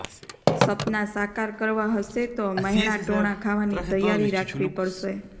સપનાં સાકાર કરવાં હશે તો મહેણાંટોણા ખાવાની તૈયારી રાખવી પડશે